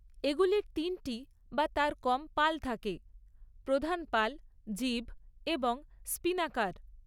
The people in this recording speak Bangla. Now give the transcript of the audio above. এগুলির তিনটি বা তার কম পাল থাকে, প্রধান পাল, জিব এবং স্পিনাকার।